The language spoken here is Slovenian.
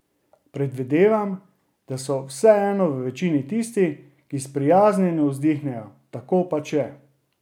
Predvidevam, da so vseeno v večini tisti, ki sprijaznjeno vzdihnejo: "Tako pač je.